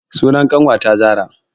Sunan ƙanwata zara